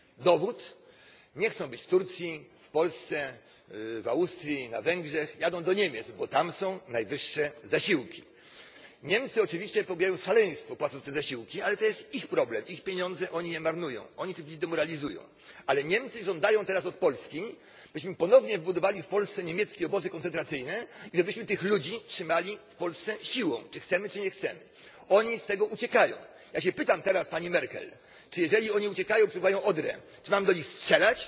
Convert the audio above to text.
Dowód? Nie chcą być w Turcji, w Polsce, w Austrii ani na Węgrzech. Jadą do Niemiec, bo tam zasiłki są najwyższe. Niemcy oczywiście popełniają szaleństwo, płacąc te zasiłki, ale to jest ich problem, ich pieniądze oni je marnują, oni tych ludzi demoralizują. Ale Niemcy żądają teraz od Polski, byśmy ponownie budowali w Polsce niemieckie obozy koncentracyjne i żebyśmy tych ludzi trzymali w Polsce siłą czy chcemy, czy nie chcemy. Oni z tych obozów uciekają. Ja się pytam teraz pani Merkel czy jeżeli oni uciekają, przepływają Odrę, czy mamy do nich strzelać?